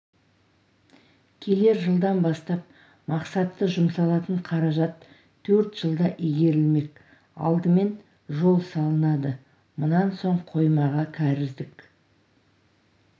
келер жылдан бастап мақсатты жұмсалатын қаражат төрт жылда игерілмек алдымен жол салынады мұнан соң қоймаға кәріздік